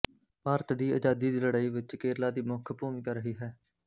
ਭਾਰਤ ਦੀ ਆਜ਼ਾਦੀ ਦੀ ਲੜਾਈ ਵਿੱਚ ਕੇਰਲਾ ਦੀ ਮੁੱਖ ਭੂਮਿਕਾ ਰਹੀ ਹੈ